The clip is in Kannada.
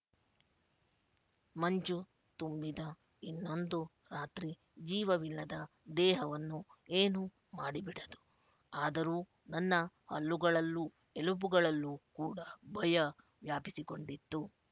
ಮಂಜು ತುಂಬಿದ ಇನ್ನೊಂದು ರಾತ್ರಿ ಜೀವವಿಲ್ಲದ ದೇಹವನ್ನು ಏನೂ ಮಾಡಿಬಿಡದು ಆದರೂ ನನ್ನ ಹಲ್ಲುಗಳಲ್ಲೂ ಎಲುಬುಗಳಲ್ಲೂ ಕೂಡ ಭಯ ವ್ಯಾಪಿಸಿಕೊಂಡಿತ್ತು